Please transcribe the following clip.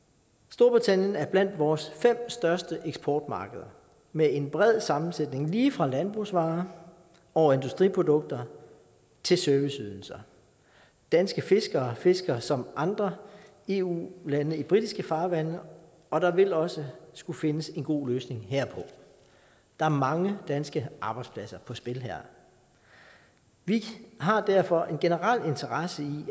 storbritannien er blandt vore fem største eksportmarkeder med en bred sammensætning lige fra landbrugsvarer over industriprodukter til serviceydelser danske fiskere fisker som andre eu lande i britiske farvande og der vil også skulle findes en god løsning herpå der er mange danske arbejdspladser på spil her vi har derfor en generel interesse i